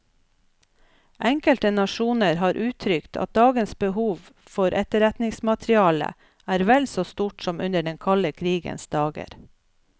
Enkelte nasjoner har uttrykt at dagens behov for etterretningsmateriale er vel så stort som under den kalde krigens dager.